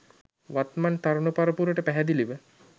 වත්මන් තරුණ පරපුරට පැහැදිලිව